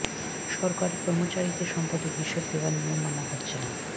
সরকারি কর্মচারীদের সম্পদের হিসাব দেওয়ার নিয়ম মানা হচ্ছে না